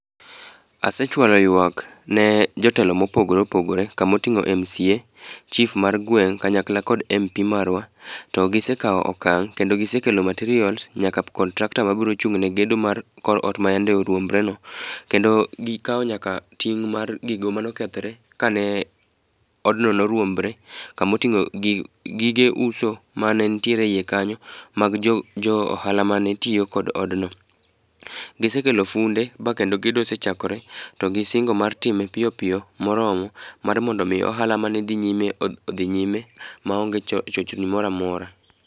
Asechwalo ywak ne jotelo mopogore opogore kamo ting'o MCA, chif mar gweng' kanyakla kod MP marwa to gisekawo okang' kendo gisekelo materials nyaka contractor mabro chung' ne gedo mar ot mayande oruombre no kendo gikawo nyaka ting' mar gogo manokethre kane odno oruombre, kamo ting'o gige uso mane nitiere iye kanyo mag jo ohala mane tiyo e odno. Gisekelo funde bakendo gendo osechakore to gisingo mar time piyo piyo moromo mar mondo mi ohala mane dhi nyime odhi nyime maonge chochni moramora.